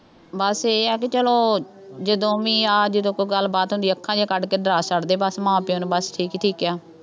ਬੱਸ ਇਹ ਆ ਕਿ ਚੱਲੋਂ, ਜਦੋਂ ਵੀ ਆ ਜਦੋਂ ਕੋਈ ਗੱਲਬਾਤ ਹੁੰਦੀ ਆ, ਅੱਖਾਂ ਜਿਹੀਆਂ ਕੱਢ ਕੇ ਡਰਾ ਛੱਡਦੇ ਬੱਸ, ਮਾਂ ਪਿਉ ਨੂੰ ਬੱਸ, ਠੀਕ ਹੈ, ਠੀਕ ਹੈ,